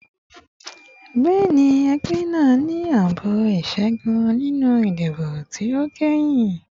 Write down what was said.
Bẹẹni, ẹgbẹ naa ni aabo iṣẹgun ninu idibo ti o kẹhin